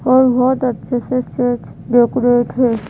और बहोत अच्छे से सेज डेकोरेट हो।